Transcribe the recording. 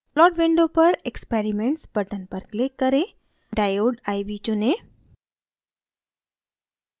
plot window पर experiments button पर click करें diode iv चुनें